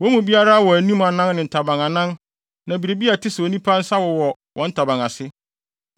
Wɔn mu biara wɔ anim anan ne ntaban anan na biribi a ɛte sɛ onipa nsa wowɔ wɔn ntaban ase.